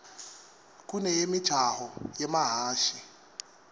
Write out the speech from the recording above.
kuneyemijaho yemahhashi